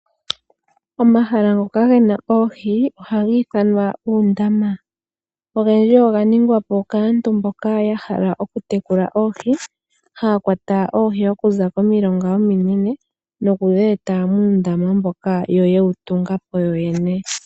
Omahala ngoka ge na oohi ohaga ithanwa uundama. Ogendji oganingwa po kaantu mboka ya hala okutekula oohi, haya kwata oohi okuza komilonga ominene nokudhi eta muundama mboka ya tunga po yoyene.